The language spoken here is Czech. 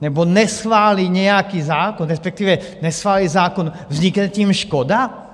nebo neschválí nějaký zákon, respektive neschválí zákon, vznikne tím škoda?